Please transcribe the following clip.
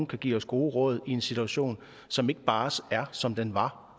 kan give os gode råd i en situation som ikke bare er som den var